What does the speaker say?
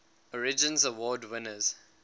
origins award winners